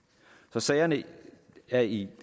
så sagerne er i